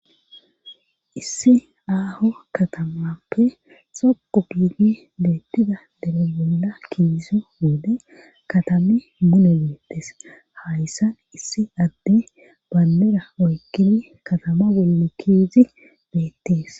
issi aaho katamappe xoqo giidi beettida dere bolla kiizo wode katame mune beettes hayssan issi adde banbera oykkini katama bolle kiizi beettees.